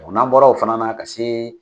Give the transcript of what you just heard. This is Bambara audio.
Ɔ n'a bɔra o fana na ka se